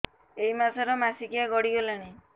ଏଇ ମାସ ର ମାସିକିଆ ଗଡି ଗଲାଣି